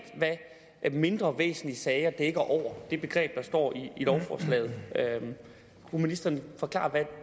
hvad begrebet mindre væsentlige sager dækker over det begreb der står i lovforslaget kunne ministeren forklare hvad